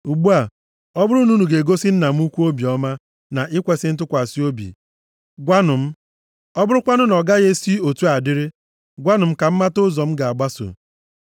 Ugbu a, ọ bụrụ na unu ga-egosi nna m ukwu obiọma na ikwesi ntụkwasị obi gwanụ m. Ọ bụrụkwanụ na ọ gaghị esi otu a dịrị, gwanụ m ka m mata ụzọ m ga-agbaso.”